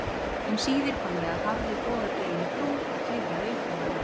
Um síðir kom ég að hárri bogadreginni brú og klifraði uppá hana.